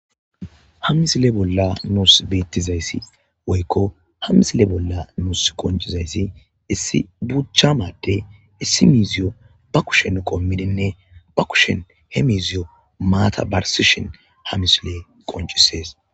ha misile bolla nuus beettizayssi woykko ha misile bolla nus qoncizayssi issi buchama adey issimiziyo ba kushen qommidinne ba kushen he misiyo maatabarsishin hamisile qoncisees